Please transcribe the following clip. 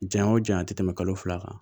Janya o janya a tɛ tɛmɛ kalo fila kan